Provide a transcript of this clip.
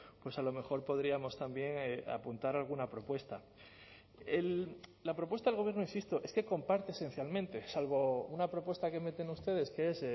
pues a lo mejor podríamos también apuntar alguna propuesta la propuesta del gobierno insisto es que comparte esencialmente salvo una propuesta que meten ustedes que es